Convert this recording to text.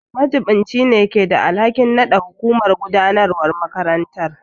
Majiɓinci ne keda alhakin nada hukumar gudanarwar makarantar.